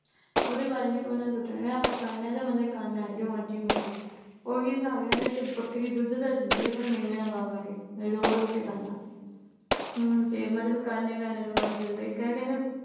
ਉਹਦੇ ਬਾਰੇ ਨੀ ਉਹਨੇ ਸੋਚਣਾ ਕਹਿੰਦਾ ਮਤਲਬ ਆਪਾ ਕਰਨਾ ਏ ਤੇ ਮਤਲਬ ਕਰਨਾ ਏੇ ਜੋ ਮਰਜੀ ਹੋ ਜਵੇ ਉਹੀ ਹਿਸਾਬ ਇਹਨਾਂ ਦਾ ਕਿ ਬੱਕਰੀ ਦੁੱਧ ਤਾਂ ਦਿੰਦੀ ਏ ਪਰ ਮੀਂਗਣਾ ਪਾ ਪਾ ਕੇ ਮਤਲਬ ਰੋ-ਰੋ ਕੇ ਕਰਨਾ, ਮਤਲਬ ਕਰਨਾ ਹੀ ਕਰਨਾ ਜੋ ਮਰਜੀ ਹੋ ਜਵੇ। ਇੱਕ ਨਾ ਕਹਿੰਦੇ